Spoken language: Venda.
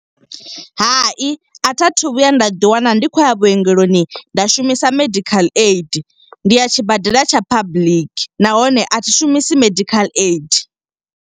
Hai, a tha thu vhuya nda ḓi wana ndi khou ya vhuongeloni nda shumisa medical aid. Ndi ya tshibadela tsha public, nahone a thi shumisi medical aid.